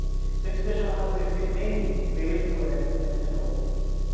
Se a gente deixa ela amadurecer bem, o peso é é melhor.